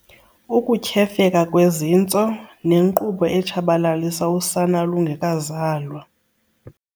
Ukutyhefeka kwezintso, nenkqubo etshabalalisa usana lungekazalwa.